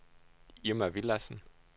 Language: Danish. Irma Villadsen